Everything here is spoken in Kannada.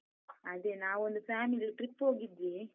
ಅದೇ, ನಾವೊಂದು family trip ಹೋಗಿದ್ವಿ.